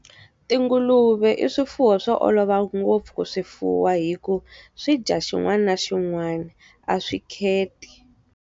Tinguluve i swifuwo swo olova ngopfu ku swi fuwa hikuva, swidya xin'wana na xin'wana. A swi kheti.